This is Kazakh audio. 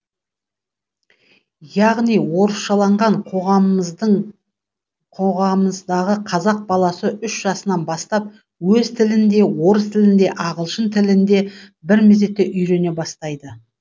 яғни орысшаланған қоғамымыздағы қазақ баласы үш жасынан бастап өз тілін де орыс тілін де ағылшын тілін де бірмезетте үйрене бастайды